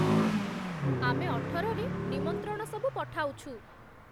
ଆମେ ଅଠରରେ ନିମନ୍ତ୍ରଣ ସବୁ ପଠାଉଛୁ